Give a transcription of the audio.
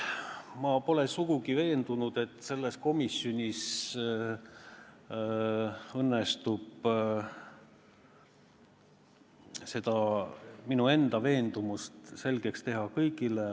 Ma pole sugugi kindel, et selles komisjonis õnnestub seda minu enda veendumust selgeks teha kõigile.